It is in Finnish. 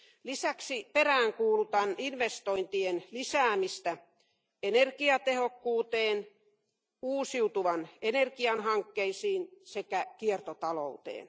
Lisäksi peräänkuulutan investointien lisäämistä energiatehokkuuteen, uusiutuvan energian hankkeisiin sekä kiertotalouteen.